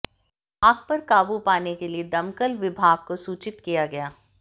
आग पर काबू पाने के लिए दमकल विभाग को सूचित किया गया